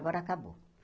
Agora acabou.